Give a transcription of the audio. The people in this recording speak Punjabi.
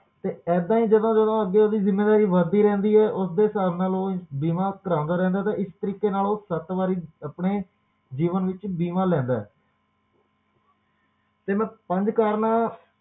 ਤੇ ਏਦਾਂ ਹੀ ਜਦੋ-ਜਦੋ ਓਹਦੀ ਜਿੰਮੇਵਾਰੀ ਵਧਦੀ ਰਹਿੰਦੀ ਹੈ ਤੇ ਉਸਦੇ ਸਾਬ ਨਾਲ ਉਹ ਆਪਣਾ ਬੀਮਾ ਕਰਾਉਂਦਾ ਰਹਿੰਦਾ ਹੈ ਇਸ ਤਰੀਕੇ ਨਾਲ ਉਹ ਸੱਤ ਵਾਰੀ ਆਪਣੇ ਜੀਵਨ ਵਿੱਚ ਬੀਮਾ ਲੈਂਦਾ ਹੈ ਤੇ ਮੈਂ ਪੰਜ ਕਰਨਾ